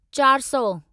चारि सौ